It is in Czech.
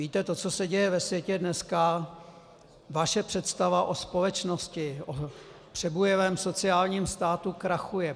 Víte, to, co se děje ve světě dneska, vaše představa o společnosti, o přebujelém sociálním státu krachuje.